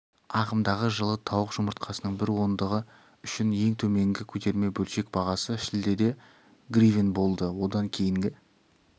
ағымдағы жылы тауық жұмыртқасының бір ондығы үшін ең төменгі көтерме-бөлшек бағасы шілдеде гривен болды одан кейінгі